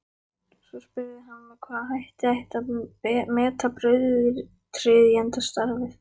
Svo spurði hann með hvaða hætti ætti að meta brautryðjendastarfið.